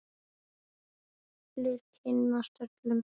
Allir kynnast öllum.